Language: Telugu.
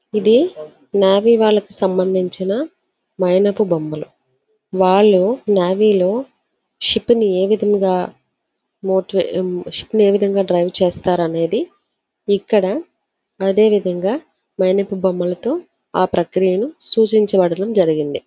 ఇది నావే వాళ్లకు సంబంధించిన మైనపు బొమ్మలు వాళ్లు నేవీలో షిప్ ని ఏ విధంగా షిప్ ని ఏ విధంగా డ్రైవ్ చేస్తారు అనేది ఇక్కడ అదే విధముగా మైనపు బొమ్మలతో ఆ ప్రక్రియను సూచించబడిన జరిగింది.